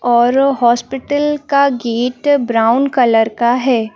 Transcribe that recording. और हॉस्पिटल का gate brown colour का है।